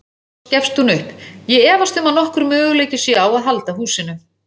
Loks gefst hún upp: Ég efast um að nokkur möguleiki sé á að halda húsinu.